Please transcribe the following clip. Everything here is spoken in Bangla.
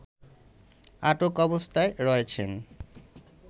আটক অবস্থায় রয়েছেন